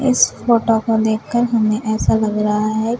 इस फोटो को देखकर हमें ऐसा लग रहा है --